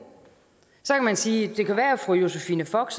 så kan man sige at fru josephine fock